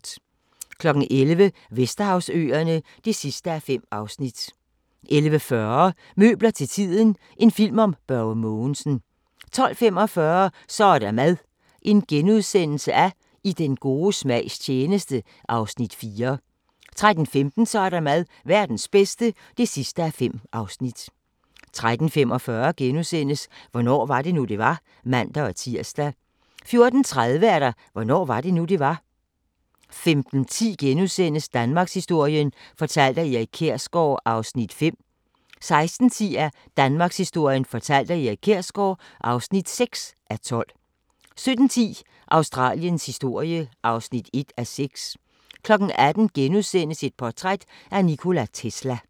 11:00: Vesterhavsøerne (5:5) 11:40: Møbler til tiden – en film om Børge Mogensen 12:45: Så er der mad – I den gode smags tjeneste (4:5)* 13:15: Så er der mad – Verdens bedste (5:5) 13:45: Hvornår var det nu, det var? *(man-tir) 14:30: Hvornår var det nu, det var? 15:10: Danmarkshistorien fortalt af Erik Kjersgaard (5:12)* 16:10: Danmarkshistorien fortalt af Erik Kjersgaard (6:12) 17:10: Australiens historie (1:6) 18:00: Portræt af Nikola Tesla *